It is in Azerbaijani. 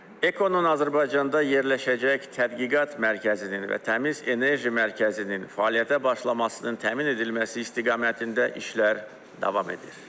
EKO-nun Azərbaycanda yerləşəcək tədqiqat mərkəzinin və Təmiz Enerji Mərkəzinin fəaliyyətə başlamasının təmin edilməsi istiqamətində işler davam edir.